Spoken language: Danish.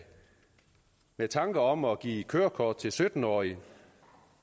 med tanker om at give kørekort til sytten årige